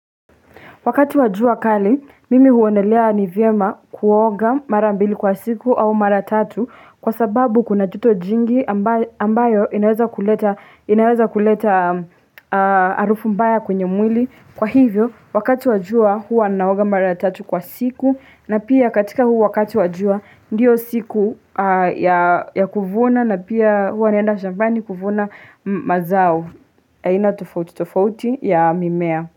Wakati wa jua kali, mimi huonelea ni vyema kuoga mara mbili kwa siku au mara tatu kwa sababu kuna joto jingi ambayo inaweza kuleta harufu mbaya kwenye mwili. Kwa hivyo, wakati wa jua huwa naoga mara tatu kwa siku na pia katika huu wakati wa jua ndio siku ya kuvuna na pia huwa naenda shambani kuvuna mazao ya aina tofouti tofauti ya mimea.